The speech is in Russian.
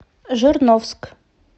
жирновск